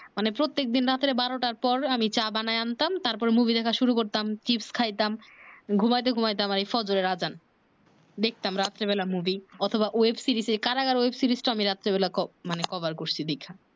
মানে প্রত্যেক দিন রাতে বারো টা পর আমি চা বানায় আনতাম তারপরে মুভি শুরু করতাম চিপ্স খাইতাম ঘুমাইতে ঘুমাইতে আমার ফজরের আযান দেখতাম রাতে বেলায় মুভি অথবা web service এ কারাগার web service টা মানে আমি রাত্রে বেলায় কো মানে কভার করছি দেইখা